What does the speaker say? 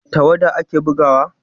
da tawada a ke yin bugawa